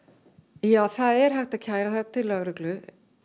ja það er hægt að kæra það til lögreglu